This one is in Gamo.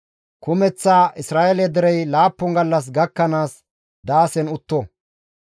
Kumeththa Isra7eele derey laappun gallas gakkanaas daasen utto.